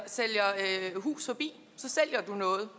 sælger hus forbi så sælger du noget